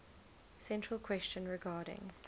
central question regarding